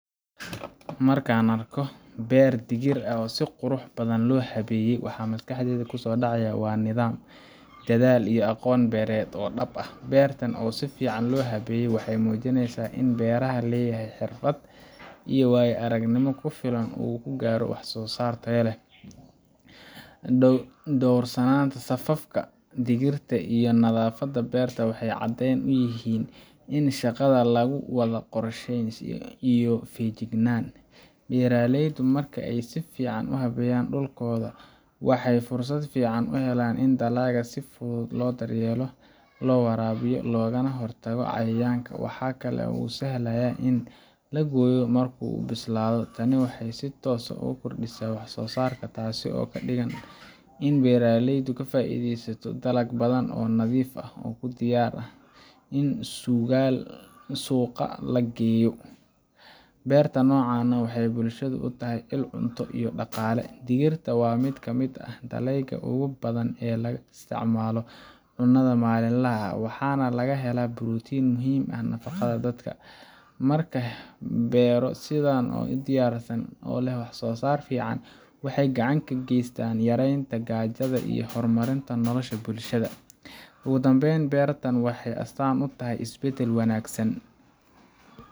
Marka aan arko beer digir ah oo si qurux badan loo habeeyey, waxa maskaxdayda ku soo dhacaya nidaam, dadaal iyo aqoon beereed oo dhab ah. Beertan si fiican loo habeeyey waxay muujinaysaa in beeralaha leeyahay xirfad iyo waayo-aragnimo ku filan oo uu ku gaaro wax-soo-saar tayo leh. Dhowrsanaanta safafka digirta iyo nadaafadda beerta waxay caddeyn u yihiin in shaqada lagu wado qorshe iyo feejignaan. Beeraleydu marka ay si fiican u habeeyaan dhulkooda, waxay fursad fiican u helaan in dalagga si fudud loo daryeelo, loo waraabiyo, loogana hortago cayayaanka. Waxa kale oo ay sahlaysaa in la gooyo marka uu bislaado. Tani waxay si toos ah u kordhisaa wax-soo-saarka, taasoo ka dhigan in beeraleydu ka faa’iideysto dalag badan oo nadiif ah oo u diyaar ah in suuqa la geeyo. Beerta noocan ah waxay bulshada u tahay il cunto iyo dhaqaale. Digirta waa mid ka mid ah dalagyada ugu badan ee laga isticmaalo cunnada maalinlaha ah, waxaana laga helaa borotiin muhiim u ah nafaqada dadka. Markaa beero sidan u diyaarsan oo leh wax-soo-saar fiican waxay gacan weyn ka geystaan yareynta gaajada iyo horumarinta nolosha bulshada. Ugu dambayn, beertan waxay astaan u tahay isbeddel wanaagsan